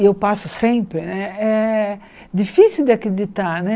eu passo sempre né, é difícil de acreditar.